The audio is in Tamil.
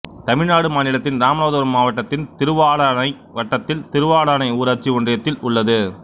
தமிழ்நாடு மாநிலத்தின் இராமநாதபுரம் மாவட்டத்தின் திருவாடானை வட்டத்தில் திருவாடானை ஊராட்சி ஒன்றியத்தில் உள்ளது